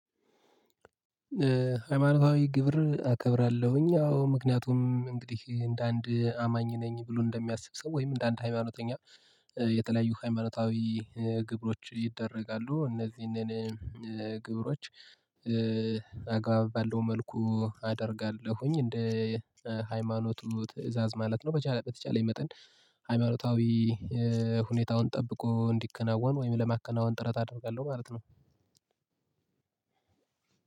ሃይማኖታዊ ግብርን አከብራለሁኝ። አዎ ምክንያቱም እንግዲህ እንደ አንድ አማኝ ነኝ ብሎ እንደሚያስብ ሰው ወይም እንደ አንድ ሃይማኖተኛ የተለያዩ ሃይማኖታዊ ግብሮች ይደረጋሉ። እነዚህን ግብሮች አግባብ ባለው መልኩ አደርጋለሁኝ። እንደ ሃይማኖቱ ትእዛዝ ማለት ነው በተቻለኝ መጠን ሃይማኖታዊ ሁኔታውን ጠብቆ እንዲከናወን ወይም ለማከናወን ጥረት አደርጋለሁ ማለት ነው።